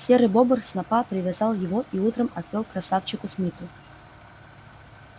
серый бобр снопа привязал его и утром отвёл к красавчику смиту